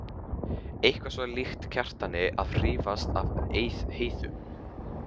Eitthvað svo líkt Kjartani að hrífast af Heiðu.